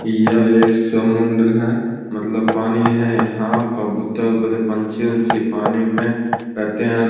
यह एक समुंद्र है मतलब पानी है यहाँ कबूतर ऊपर से पंछी-वछी पानी में रहते है औ --